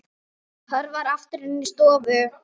Hörfar aftur inn í stofu.